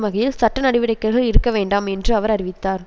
வகையில் சட்ட நடவடிக்கைகள் இருக்க வேண்டாம் என்று அவர் அறிவித்தார்